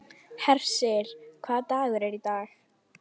Hersir, hvaða dagur er í dag?